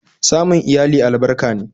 Samun iyali albarka ne